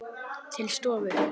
Til stofu.